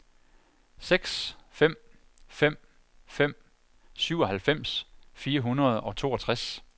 seks fem fem fem syvoghalvfems fire hundrede og toogtres